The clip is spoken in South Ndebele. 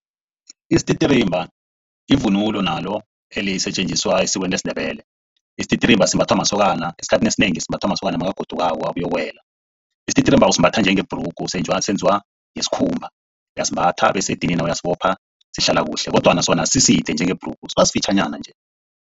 Isititirimba livunulo nalo elisetjenziswa esikweni lesiNdebele. Isititirimba simbathwa masokana. Esikhathini esinengi simbathwa masokana nakagodukako abuyokuwela. Isititirimba usimbatha njengebhrugu senziwa ngesikhumba. Uyasimbatha bese edinina uyasibopha. Sihlala kuhle kodwana sona asiside njengebhrugu sibasifitjhanyana nje.